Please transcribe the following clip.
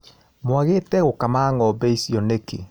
Mwagĩte gũkama ngombe icio nĩkĩ.